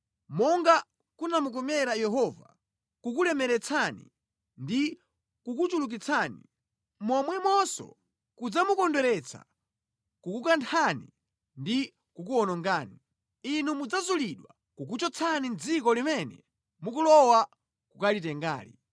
Monga kunamukomera Yehova kukulemeretsani ndi kukuchulukitsani, momwemonso kudzamukondweretsa kukunthani ndi kukuwonongani. Inu mudzazulidwa kukuchotsani mʼdziko limene mukulowa kukalitengali.